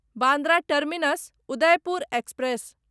Bandra terminus Udaipur express